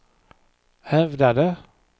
hävdade